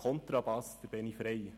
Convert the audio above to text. Kontrabass: Benjamin Frei.